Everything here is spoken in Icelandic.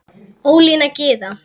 Ólína Gyða.